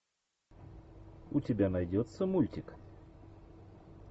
у тебя найдется мультик